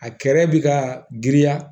A kɛrɛ bɛ ka girinya